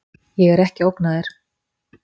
Ég er ekki að ógna þér.